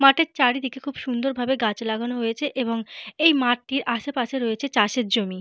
মাঠের চারিদিকে খুবই সুন্দর ভাবে গাছ লাগানো রয়েছে এবং এই মাঠটির আসে পাশে রয়েছে চাষের জমি।